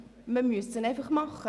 Man müsste es einfach tun.